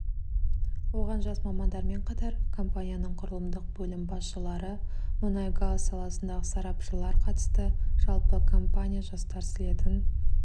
оған жас мамандармен қатар компанияның құрылымдық бөлім басшылары мұнай-газ саласындағы сарапшылар қатысты жалпы компания жастар слетін